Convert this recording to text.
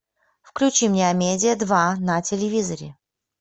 включи мне амедиа два на телевизоре